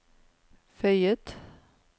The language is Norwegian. føyet